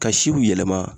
Ka siw yɛlɛma